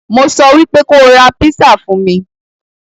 Mo sọ wípé kóo ra písà fún mí.